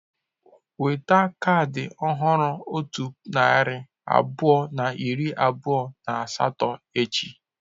Weta kaadị ọhụrụ otu puku narị abụọ na iri abụọ na asatọ echi.